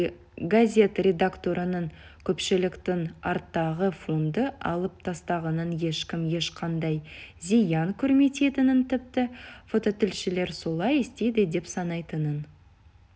газет редакторының көпшіліктің арттағы фонды алып тастағаннан ешкім ешқандай зиян көрмейтінін тіпті фототілшілер солай істейді деп санайтынын